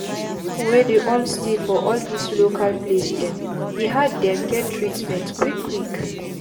pipu wey dey all stay for all dis local place dem e hard dem get treatment quick quick